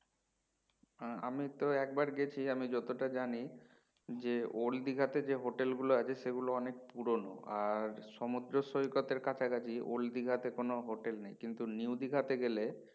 হ্যাঁ আমি তো একবার গেছি আমি যতটা জানি যে old দীঘাতে যে হোটেল গুলো আছে সেগুলো অনেক পুরোনো আর সমুদ্র সৈকতের কাছাকাছি old দীঘাতে কোনো হোটেল নেই কিন্তু new দীঘাতে গেলে